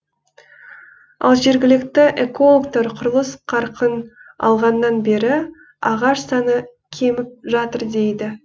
ал жергілікті экологтар құрылыс қарқын алғаннан бері ағаш саны кеміп жатыр дейді